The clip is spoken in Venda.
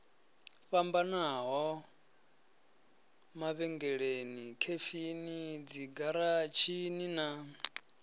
fhambanaho mavhengeleni khefini dzigaratshini na